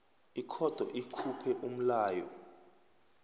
ikhotho ikhuphe umlayo